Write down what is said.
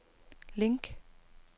link